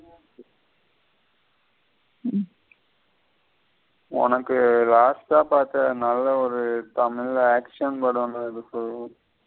உனக்கு last ஆ பாத்தா நல்ல ஒரு தமிழ் action படன்றத சொல்லு.